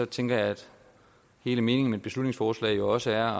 tænker jeg at hele meningen med et beslutningsforslag jo også er